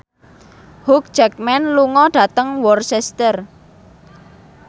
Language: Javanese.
Hugh Jackman lunga dhateng Worcester